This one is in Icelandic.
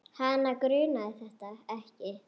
Hana grunaði þetta ekki.